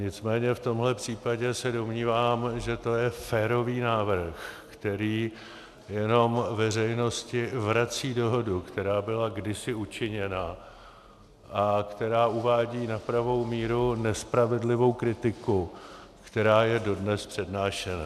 Nicméně v tomhle případě se domnívám, že to je férový návrh, který jenom veřejnosti vrací dohodu, která byla kdysi učiněna a která uvádí na pravou míru nespravedlivou kritiku, která je dodnes přednášena.